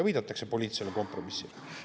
Viidatakse poliitilisele kompromissile.